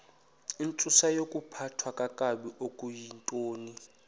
intsusayokuphathwa kakabi okuyintoni